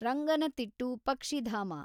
ರಂಗನತಿಟ್ಟು ಪಕ್ಷಿಧಾಮ